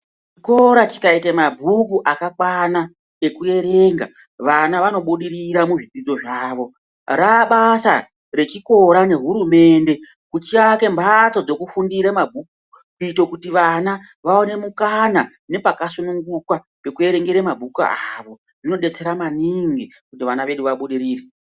Chikora chikaite mabhuku akakwana ekuerenga, vana vanobudirira muzvidzidzo zvavo. Raabasa rezvikora nehurumende kuti vaake mhatso dzekufundira kuti vana vaone mukana nepakasununguka kuti vaerenge mabhuku avo. Zvinodetsera maningi kuti vana vedu vabudirire.